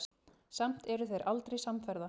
Samt eru þeir aldrei samferða.